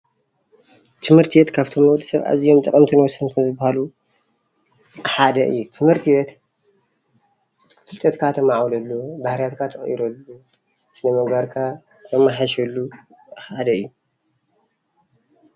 ትምህርት ቤት ካብቶም ንወዲ ሰብ ኣዝዮም ጠቐምትን ወሰንትን ዝባሃሉ ሓደ እዩ፡፡ ትምህርት ቤት ፍልጠትካ ተማዕብለሉ፣ ባህርያትካ ትቕይረሉ ስነ ምግባርካ ተማሓይሸሉ ሓደ እዩ፡፡